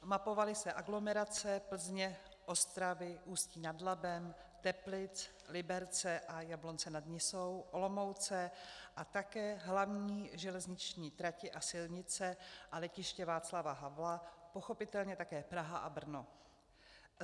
Mapovaly se aglomerace Plzně, Ostravy, Ústí nad Labem, Teplic, Liberce a Jablonce nad Nisou, Olomouce a také hlavní železniční tratě a silnice a Letiště Václava Havla, pochopitelně také Praha a Brno.